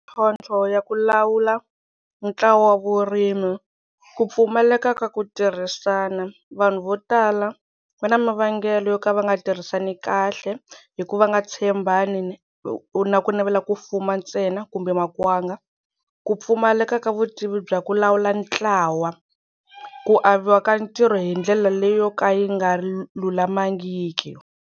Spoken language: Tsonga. Mintlhontlho ya ku lawula ntlawa wa vurimi ku pfumaleka ka ku tirhisana vanhu vo tala va na mavengele yo ka va nga tirhisani kahle hi ku va nga tshembana ni na ku navela ku fuma ntsena kumbe makwanga ku pfumaleka ka vutivi bya ku lawula ntlawa ku aviwa ka ntirho hi ndlela leyo ka yi nga lulamangiki.